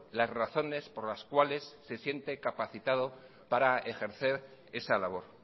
las razones por las cuales se siente capacitado para ejercer esa labor